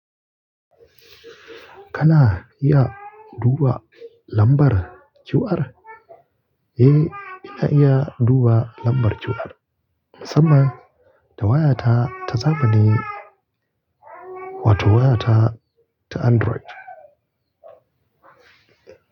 Kana iya duba lambar QR? Eh, ina iya duba lambar QR, musamman da wayata ta zamani wato wayata ta Android.